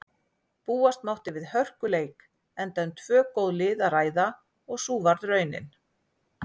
Búast mátti við hörkuleik enda um tvö góð lið að ræða og sú varð raunin.